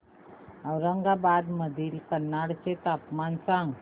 औरंगाबाद मधील कन्नड चे तापमान सांग